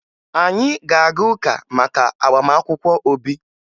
Anyị na-aga ụka maka agbamakwụkwọ Obi